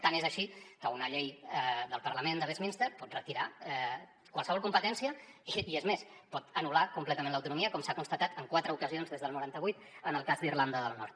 tant és així que una llei del parlament de westminster pot retirar qualsevol competència i és més pot anul·lar completament l’autonomia com s’ha constatat en quatre ocasions des del noranta vuit en el cas d’irlanda del nord